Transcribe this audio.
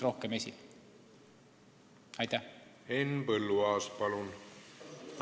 Henn Põlluaas, palun!